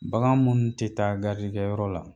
Bagan munnu tɛ taa kɛ yɔrɔ la